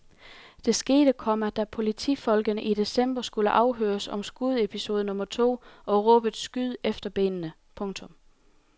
Det skete, komma da politifolkene i december skulle afhøres om skudepisode nummer to og råbet skyd efter benene. punktum